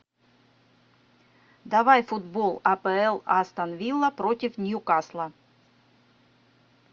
давай футбол апл астон вилла против ньюкасла